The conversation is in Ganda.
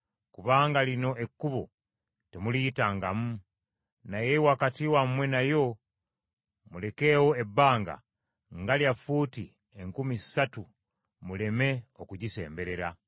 kubanga lino ekkubo temuliyitangamu. Naye wakati wammwe nayo, mulekawo ebbanga nga lya fuuti enkumi ssatu muleme okugisemberera.”